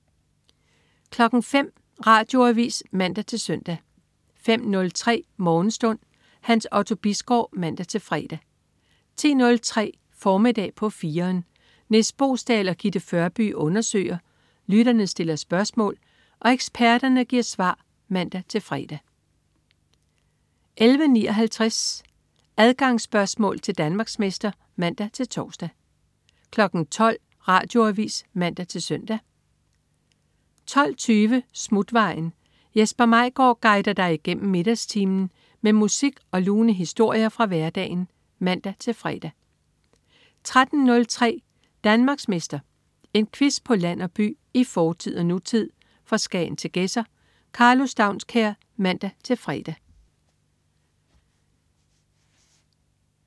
05.00 Radioavis (man-søn) 05.03 Morgenstund. Hans Otto Bisgaard (man-fre) 10.03 Formiddag på 4'eren. Nis Boesdal og Gitte Førby undersøger, lytterne stiller spørgsmål og eksperterne giver svar (man-fre) 11.59 Adgangsspørgsmål til Danmarksmester (man-tors) 12.00 Radioavis (man-søn) 12.20 Smutvejen. Jesper Maigaard guider dig igennem middagstimen med musik og lune historier fra hverdagen (man-fre) 13.03 Danmarksmester. En quiz på land og by, i fortid og nutid, fra Skagen til Gedser. Karlo Staunskær (man-fre)